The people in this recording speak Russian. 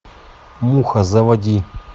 муха заводи